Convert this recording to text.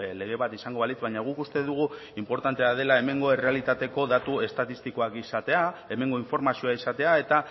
lege bat izango balitz baina guk uste dugu inportantea dela hemengo errealitateko datu estatistikoak izatea hemengo informazioa izatea eta